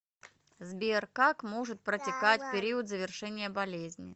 сбер как может протекать периодзавершения болезни